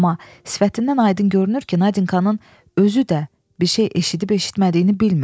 Amma sifətindən aydın görünür ki, Nadinkanın özü də bir şey eşidib eşitmədiyini bilmir.